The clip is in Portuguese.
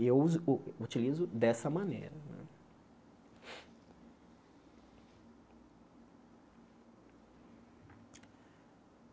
E eu uso u utilizo dessa maneira né.